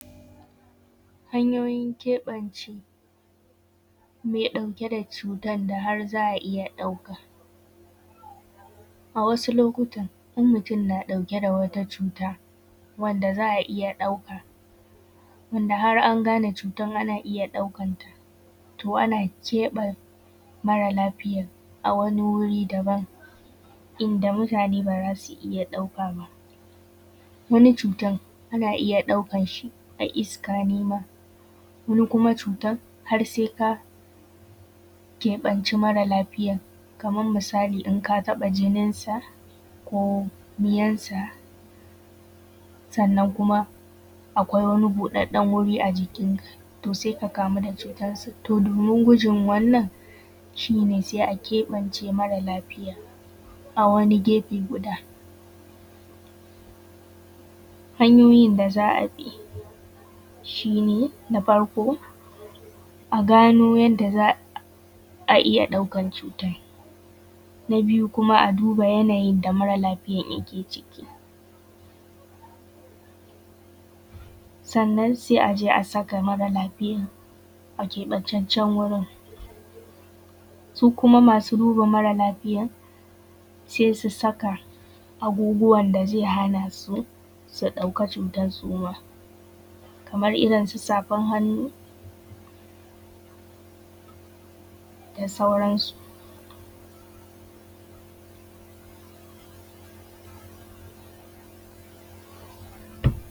Hanyoyin keɓance mai ɗauke da cutan da har za a iya ɗauka. A wasu lokutan in mutum na ɗauke da wata cuta wanda za a iya ɗauka wanda har an gane cutarn ana iya ɗaukan ta, to ana keɓanta mara lafiyan a wani guri daban, inda mutane ba zasu iya ɗauka ba. Wani cutan ana iya ɗaukan shi a iska ne ma, wani kuma cutar har sai ka keɓanci mara lafiyar, kamar misali, in ka taɓa jinin sa ko miyan sa, sannan kuma akwai wani buɗaɗɗen wuri a jikin ka, to sai ka kamu da cutar. To domin gujin wannan, shi ne sai a keɓance mara lafiyar a wani gefe guda. Hanyoyin da za a bi shi ne, na farko a gano yanda za a iya ɗaukan cutar, na biyu kuma a duba yanayin da mara lafiyar yake ciki, sannan sai aje a saka mara lafiyar a keɓantaccen gurin, su kuma masu duba mara lafiyar sai su saka abubuwan da zai hana su su ɗauka cutar su ma, kamar irin su safar hannu da sauran su.